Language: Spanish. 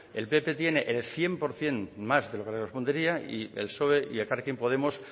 el pp tiene el cien por ciento más de lo que le correspondería y el psoe y elkarrekin podemos